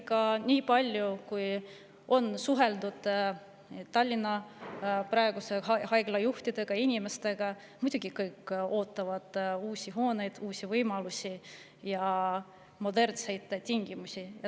Ja nii palju kui on suheldud Tallinna haiglajuhtide ja, muidugi kõik ootavad uusi hooneid, uusi võimalusi ja modernseid tingimusi.